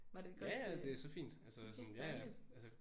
Ja ja det er så fint altså sådan ja ja altså